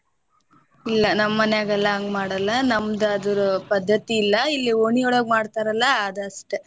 ಇಲ್ಲಾ ನಮ ಮನ್ಯಾಗೆಲ್ಲಾ ಹಂಗ ಮಾಡಲ್ಲಾ ನಮ್ದ ಅದರ ಪದ್ಧತಿ ಇಲ್ಲಾ ಇಲ್ಲಿ ಓಣಿಯೊಳಗ ಮಾಡತಾರ ಅಲ್ಲಾ ಅದಷ್ಟೇ.